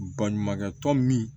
Baɲumankɛ tɔn min